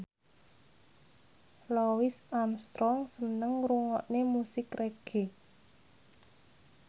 Louis Armstrong seneng ngrungokne musik reggae